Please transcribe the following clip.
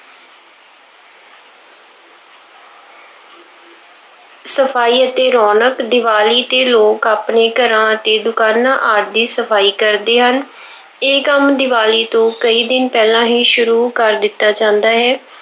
ਸਫਾਈ ਅਤੇ ਰੌਣਕ- ਦੀਵਾਲੀ ਤੇ ਲੋਕ ਆਪਣੇ ਘਰਾਂ ਅਤੇ ਦੁਕਾਨਾਂ ਆਦਿ ਦੀ ਸਫਾਈ ਕਰਦੇ ਹਨ। ਇਹ ਕੰਮ ਦੀਵਾਲੀ ਤੋਂ ਕਈ ਦਿਨ ਪਹਿਲਾਂ ਹੀ ਸ਼ੁਰੂ ਕਰ ਦਿੱਤਾ ਜਾਂਦਾ ਹੈ।